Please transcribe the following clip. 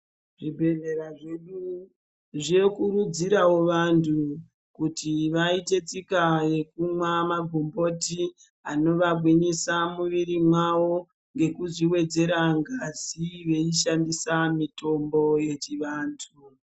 Zvibhedhlera zvedu zvokukurudzirawo vantu kuti vaite taika yokumwa magomboti anovagwinyisa mumwiri mwawo nekuzviwedzerwo ngazi veishandisa mitombo yechivantu.